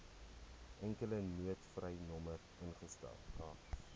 enkele noodtolvrynommer ingestel